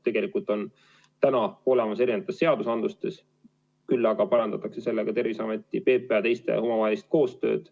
Tegelikult on see kõik olemas erinevates seadustes, sellega parandatakse vaid Terviseameti ja PPA omavahelist koostööd.